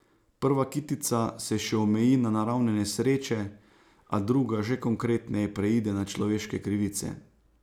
Prva kitica se še omeji na naravne nesreče, a druga že konkretneje preide na človeške krivice.